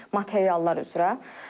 Materiallar üzrə.